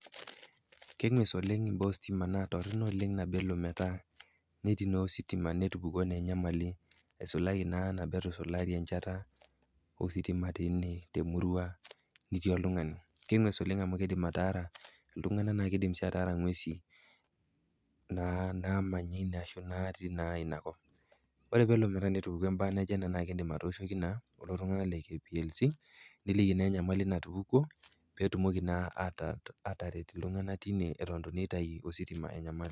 Keng'wes oleng imbaa ositima naa toronok oleng iina peyie elo metaa netii naa ositima netupukuo naa enyamali eisulaki naa nabo etusulari enchata, ositima teina temurua, nitii oltung'ani. Keng'wes oleng amuu keidim ataara iltung'anak naa keidim sii ataara ing'wesi natii naa inakop. Oore peyie elo netupukuo embaye naijo iina naa iidim atooshoki naa kuulo tung'anak le KPLC niliki naa enyamali natupukuo, peyie etumoki naa ataret iltung'anak teine eton naa eitu eitau ositima enyamali.